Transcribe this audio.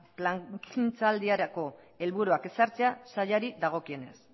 plangintzaldiarako helburuak ezartzea sailari dagokienez